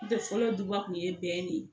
N tɛ fɔlɔ duba kun ye bɛn de ye